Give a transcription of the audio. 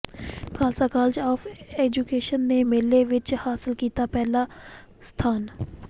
Khalsa college of education ਨੇ ਮੇਲੇ ਵਿਚ ਹਾਸਲ ਕੀਤਾ ਪਹਿਲਾ ਸਥਾਨ